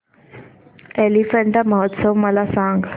एलिफंटा महोत्सव मला सांग